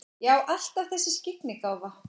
Já, alltaf þessi skyggnigáfa.